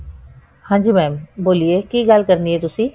ਹਾਂਜੀ mam ਬੋਲਿਏ ਕੀ ਗੱਲ ਕਰਨੀ ਹੈ ਤੁਸੀਂ